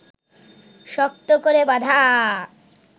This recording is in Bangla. শক্ত করে বাঁধা